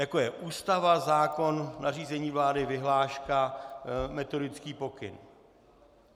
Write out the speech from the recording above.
Jako je Ústava - zákon - nařízení vlády - vyhláška - metodický pokyn.